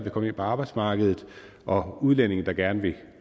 at komme ind på arbejdsmarkedet og udlændinge der gerne vil